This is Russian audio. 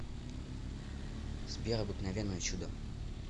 сбер обыкновенное чудо